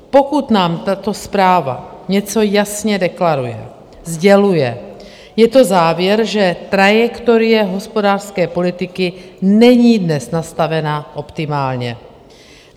Pokud nám tato zpráva něco jasně deklaruje, sděluje, je to závěr, že trajektorie hospodářské politiky není dnes nastavena optimálně.